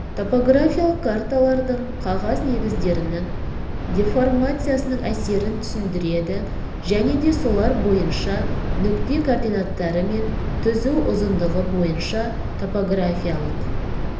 топографиялық карталардың қағаз негіздерінің деформациясының әсерін түсіндіреді және де солар бойынша нүкте координаттары мен түзу ұзындығы бойынша топографиялық